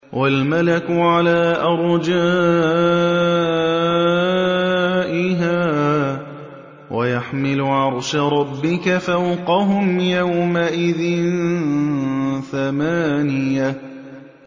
وَالْمَلَكُ عَلَىٰ أَرْجَائِهَا ۚ وَيَحْمِلُ عَرْشَ رَبِّكَ فَوْقَهُمْ يَوْمَئِذٍ ثَمَانِيَةٌ